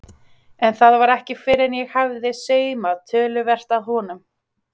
En það var ekki fyrr en ég hafði saumað töluvert að honum.